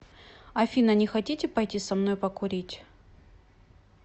афина не хотите пойти со мной покурить